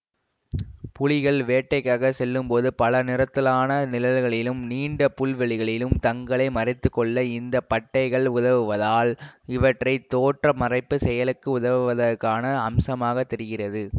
புலிகள் வேட்டைக்காகச் செல்லும்போது பல நிறத்தாலான நிழல்களிலும் நீண்ட புல்வெளிகளிலும் தங்களை மறைத்துக்கொள்ள இந்த பட்டைகள் உதவுவதால் இவை தோற்ற மறைப்பு செயலுக்கு உதவுவதற்கான அம்சமாகத் தெரிகிறது